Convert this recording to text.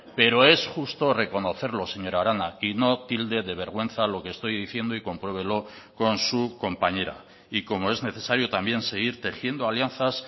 pero es justo reconocerlo señora arana y no tilde de vergüenza lo que estoy diciendo y compruébelo con su compañera y como es necesario también seguir tejiendo alianzas